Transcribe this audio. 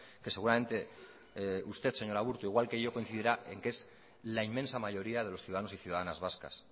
que seguramente usted señora aburto igual que yo coincidirá en que es la inmensa mayoría de los ciudadanos y ciudadanas vascas